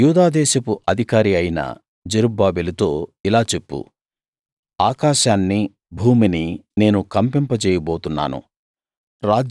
యూదాదేశపు అధికారి అయిన జెరుబ్బాబెలుతో ఇలా చెప్పు ఆకాశాన్ని భూమిని నేను కంపింపజేయ బోతున్నాను